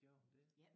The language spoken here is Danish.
Gjorde hun det?